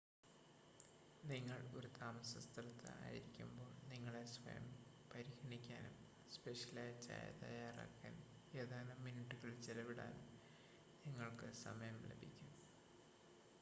നിങ്ങൾ ഒരു താമസസ്ഥലത്ത് ആയിരിക്കുമ്പോൾ നിങ്ങളെ സ്വയം പരിഗണിക്കാനും സ്പെഷ്യലായ ചായ തയ്യാറാക്കാൻ ഏതാനും മിനിറ്റുകൾ ചെലവിടാനും നിങ്ങൾക്ക് സമയം ലഭിക്കും